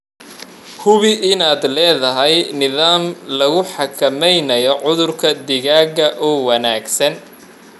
Hubi in aad leedahay nidaam lagu xakameynayo cudurka digaaga oo wanaagsan.